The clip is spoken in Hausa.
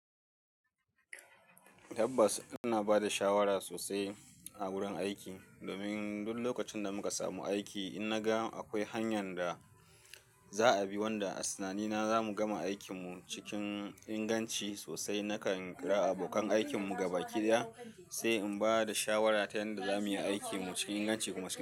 Tabbas, ina ba da shawara sosai a wurin aiki domin duk lokacin da muka samu aiki, in na ga akwai hanyan da za a bi wanda a tunanina za mu gama aikinmu cikin inganci sosai, nakan kira abokan aikinmu gaba ki daya sai in ba da shawara ta yanda za mu yi aikinmu cikin inganci kuma cikin.